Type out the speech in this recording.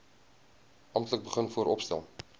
amptelik begin vooropstel